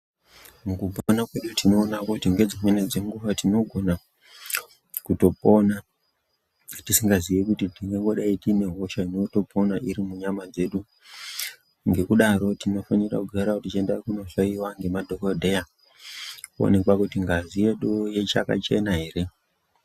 Mukupona kwedu tinoona kuti ngedzimweni dzenguwa tinogona kutopona tisingaziyi kuti tingangodai tine hosha inotopona iri munyama dzedu. Ngekudaro tinofanira kugarawo tichienda kunohloyiwa ngemadhokodheya toonekwa kuti ngazi yedu ichakachena ere.